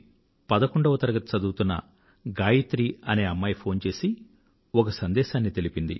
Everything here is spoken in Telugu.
పదకొండవ తరగతి చదువుతున్న గాయత్రి అనే అమ్మాయి దెహ్ రా దూన్ నుండి ఫోన్ చేసి ఒక సందేశాన్ని పంపించింది